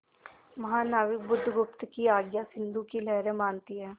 महानाविक बुधगुप्त की आज्ञा सिंधु की लहरें मानती हैं